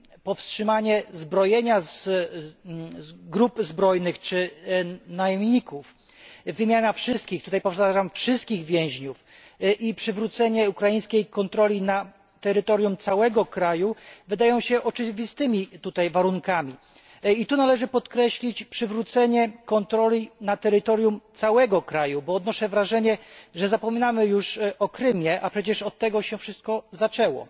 powstrzymanie zbrojenia grup zbrojnych czy najemników, wymiana wszystkich powtarzam wszystkich więźniów i przywrócenie ukraińskiej kontroli nad terytorium całego kraju wydają się tutaj oczywistymi warunkami. Należy tutaj podkreślić przywrócenie kontroli nad terytorium całego kraju, bo odnoszę wrażenie, że zapominamy już o Krymie, a przecież od tego wszystko się zaczęło.